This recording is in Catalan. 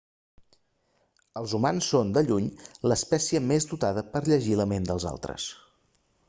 els humans són de lluny l'espècie més dotada per a llegir la ment dels altres